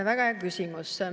Väga hea küsimus!